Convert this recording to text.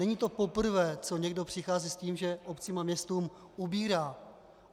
Není to poprvé, co někdo přichází s tím, že obcím a městům ubírá.